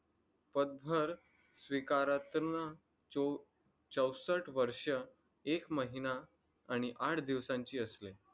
यासोबतच वीस जून एकोणीशे अठ्ठावन्न रोजी जन्मलेली द्रोपदी मुर्मू पंचवीस जुलै दोन हजार बावीस रोजी